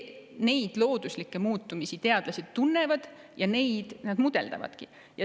Neid looduslikke muutumisi teadlased tunnevad ja neid nad ka mudeldavad.